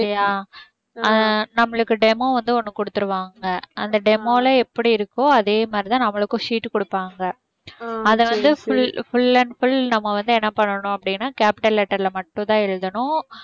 அஹ் நம்மளுக்கு demo வந்து ஒண்ணு கொடுத்துடுவாங்க. அந்த demo ல எப்படி இருக்கோ அதே மாதிரிதான் நம்மளுக்கும் sheet குடுப்பாங்க அதை வந்து full full and full நம்ம வந்து என்ன பண்ணனும் அப்படினா capital letter ல மட்டும் தான் எழுதணும்